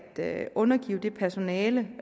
det at undergive det personale